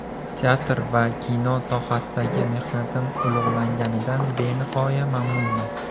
Teatr va kino sohasidagi mehnatim ulug‘langanidan benihoya mamnunman.